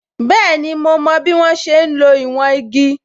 Bẹẹni, ma mo bí wọ́n ṣe ń lo ìwọ̀n igi